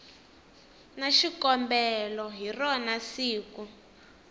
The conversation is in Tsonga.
na xikombelo hi rona siku